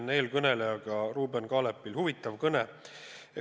Ühinen eelkõnelejaga: Ruuben Kaalepil oli huvitav kõne.